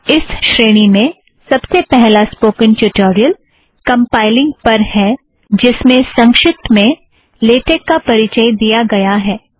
इस श्रेणी में सबसे पहला स्पोकन ट्युटोरियल कम्पाइलिंग पर है जिस में संक्षिप्त में लेटेक का परिचय दिया गया है